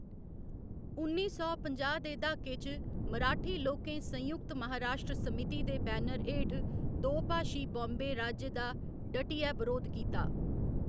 उन्नी सौ पंजाह्‌ दे द्हाके च, मराठी लोकें संयुक्त महाराश्ट्र समिति दे बैनर हेठ दोभाशी बाम्बे राज्य दा डटियै बरोध कीता।